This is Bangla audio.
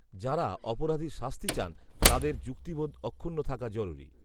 যাঁরা অপরাধীর শাস্তি চান, তাঁদের যুক্তিবোধ অক্ষুণ্ণ থাকা জরুরি